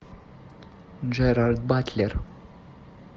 джерард батлер